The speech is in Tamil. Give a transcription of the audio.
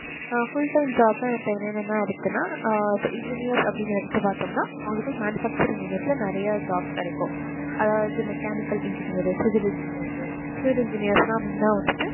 அஹ் full time job னா இப்போ என்னன்ன இருக்குன்னா ஆஹ் engineers அப்படி எடுத்து பாத்தோம்னா அவங்களுக்கு manufacturing unit ல நிறைய jobs கிடைக்கும் அதாவது mechanical engineer, civil engineers, civil engineers ன்னா main ஆ வந்துட்டு